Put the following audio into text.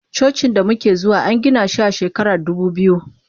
Cocin damuke zuwa angina shi a shekarar dubu biyu.